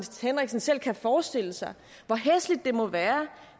henriksen selv kan forestille sig hvor hæsligt det må være